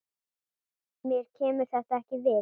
Mér kemur þetta ekkert við.